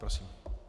Prosím.